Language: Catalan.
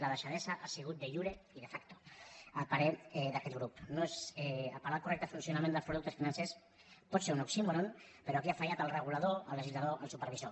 la deixadesa ha sigut de iurei de factofuncionament dels productes financers pot ser un oxí·moron però aquí han fallat el regulador el legislador el supervisor